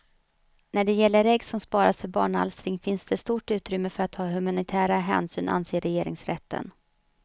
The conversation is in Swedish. När det gäller ägg som sparas för barnalstring finns det stort utrymme för att ta humanitära hänsyn, anser regeringsrätten.